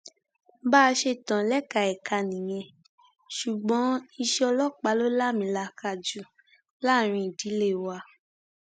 bá a ṣe tán lẹka ẹka nìyẹn ṣùgbọn iṣẹ ọlọpàá ló láàmìlàaka jù láàrin ìdílé wa